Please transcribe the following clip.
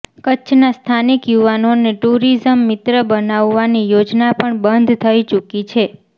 કચ્છના સ્થાનિક યુવાનોને ટુરિઝમ મિત્ર બનાવવાની યોજના પણ બંધ થઇ ચૂકી છે